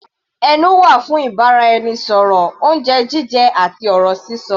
Ẹnu wà fún ìbáraẹnisọ̀rọ̀, oúnjẹ jíjẹ àti ọ̀rọ̀ sísọ.